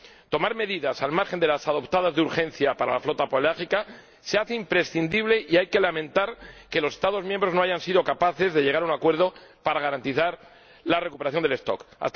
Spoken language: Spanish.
Tomar medidas, al margen de las adoptadas de urgencia para la flota pelágica, se hace imprescindible y hay que lamentar que los Estados miembros no hayan sido capaces de llegar a un acuerdo para garantizar la recuperación de las poblaciones.